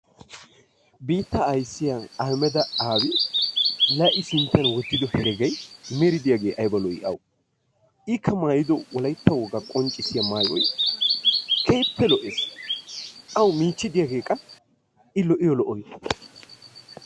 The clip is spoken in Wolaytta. Biittaa ayssiya Ahhamedda Aabi la I sintta wottido heregay meri diyaagee aybba lo''i awu! Ikka maayyido Wolaytta wogaa qonccissiya maayyoy keehippe lo''ees. Awu miichchi diyaage qa I lo''iyo lo''oy!